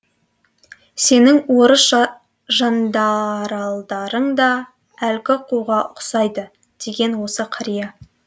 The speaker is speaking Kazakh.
сенің орыс жандаралдарың да әлгі қуға ұқсайды деген осы қария